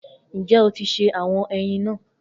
Njẹ o ti se awọn eyin naa?